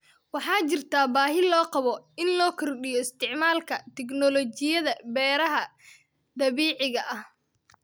Waxaa jirta baahi loo qabo in la kordhiyo isticmaalka tignoolajiyada beeraha dabiiciga ah.